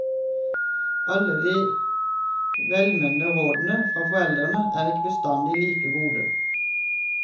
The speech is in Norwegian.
Alle de velmenende rådene fra foreldrene er ikke bestandig like gode.